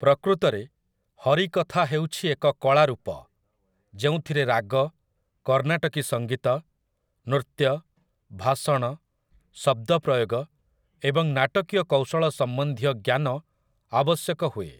ପ୍ରକୃତରେ, ହରିକଥା ହେଉଛି ଏକ କଳା ରୂପ, ଯେଉଁଥିରେ ରାଗ, କର୍ନାଟକି ସଙ୍ଗୀତ, ନୃତ୍ୟ, ଭାଷଣ, ଶବ୍ଦ ପ୍ରୟୋଗ ଏବଂ ନାଟକୀୟ କୌଶଳ ସମ୍ବନ୍ଧୀୟ ଜ୍ଞାନ ଆବଶ୍ୟକ ହୁଏ ।